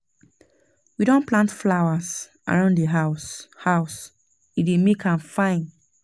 We don plant flowers around di house, house, e dey make am fine.